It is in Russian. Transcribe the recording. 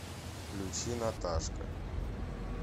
включи наташка